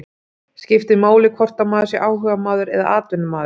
Skiptir máli hvort maður sé áhugamaður eða atvinnumaður?